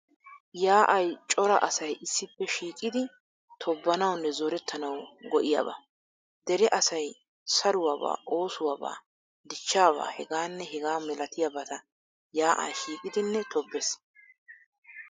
Yaa'ay cora asay issippe shiiqidi tobbanawunne zorettanawu go'iyaaba. Dere asay saruwaabaa, oosuwabaa, dichchaabaa ... hegaanne hegaa milatiyabata yaa'an shiiqidine tobbees.